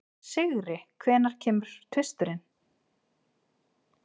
Sigri, hvenær kemur tvisturinn?